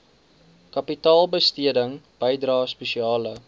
kapitaalbesteding bydrae spesiale